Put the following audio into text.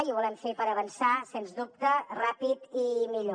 i ho volem fer per avançar sens dubte ràpid i millor